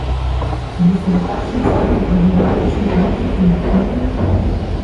Da bi se v takšnem stanju problematični politiki umaknili?